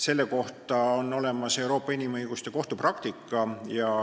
Selle kohta on olemas Euroopa Inimõiguste Kohtu praktika.